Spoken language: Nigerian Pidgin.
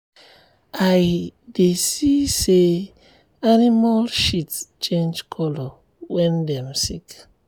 i dey see say animal shit change color when dem sick.